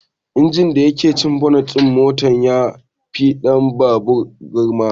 Injin da yake cikin bonet din motan ya fi na babur gurma